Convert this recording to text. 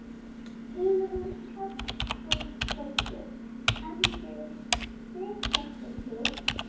Hugrún Halldórsdóttir: En þið, þig hlakkar til?